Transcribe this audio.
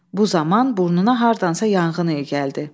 Bu zaman burnuna hardansa yanğın iyi gəldi.